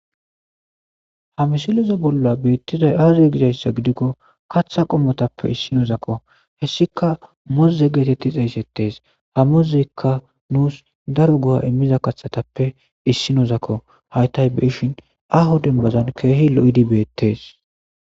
Ha misilezo bolla beettizay aazoy gizayssa gidikko kaththa qommotappe issinozakko hessika moze geetetti xeeysettees ha mozekka nuus daro goha immiza kaththatappe issinozakko haytay beshin aho dembazon keehi lo'idibeettees.